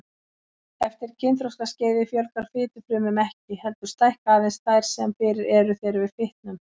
Eftir kynþroskaskeiðið fjölgar fitufrumum ekki, heldur stækka aðeins þær sem fyrir eru þegar við fitnum.